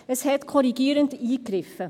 Es hat korrigierend eingegriffen.